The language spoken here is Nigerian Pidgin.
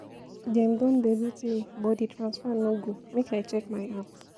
Dem don debit me but di transfer no go, make I check my app.